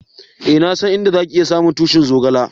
Eh, na san inda za ki iya samu tushi'n zogale.